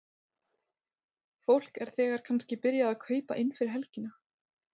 Fólk er þegar kannski byrjað að kaupa inn fyrir helgina?